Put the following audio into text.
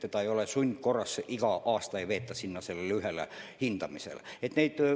See ei käiks sundkorras, iga aasta ei veetaks last sellele ühele hindamisele.